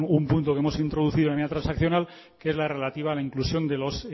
un punto que hemos introducido en la medida transaccional que es la relativa a la inclusión de los